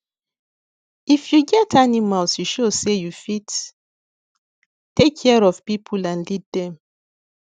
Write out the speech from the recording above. if you get animals e show say you fit take care of people and lead them